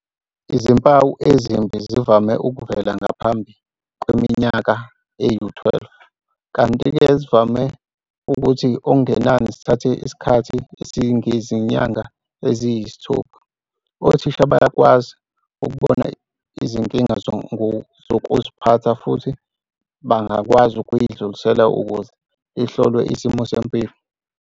Izimpawu ezimbi zivame ukuvela ngaphambi kweminyaka eyi-12 kanti-ke zivame ukuthi okungenani zithathe isikhathi esingangezinyanga eziyisithupha. Othisha bayakwazi ukubona izinkinga zokuziphatha futhi bangakwazi ukuyidlulisela ukuze ihlolwe isimo sempilo.